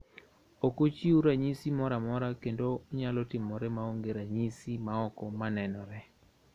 Ok ochiu ranyisi moro amora kendo onyalo timore maonge ranyisi maoko manenore.